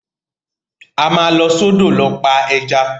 A máa lọ sọ́dọ̀ lọ pa ẹja.